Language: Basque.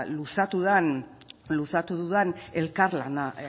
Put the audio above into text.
luzatu dudan elkar lana